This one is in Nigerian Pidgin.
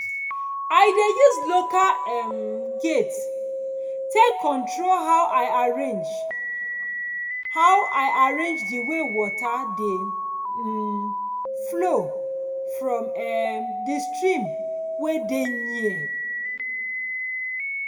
i dey use local um gate take control how i arrange how i arrange di wey water dey um flow from um di stream wey dey near